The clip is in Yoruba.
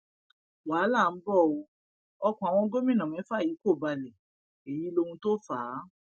wàhálà ńbọ o ọkàn àwọn gómìnà mẹfà yìí kò balẹ èyí lóhun tó fà á